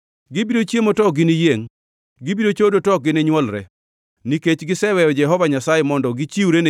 “Gibiro chiemo to ok giniyiengʼ; gibiro chodo to ok gini nywolre, nikech giseweyo Jehova Nyasaye, mondo gichiwre